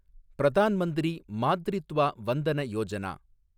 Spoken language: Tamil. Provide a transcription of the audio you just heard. பிரதான் மந்திரி மாத்ரித்வா வந்தன யோஜனா